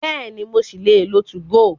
Bẹ́ẹ̀ni, mo ṣì lè lo 2go.